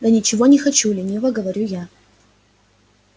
да ничего не хочу лениво говорю я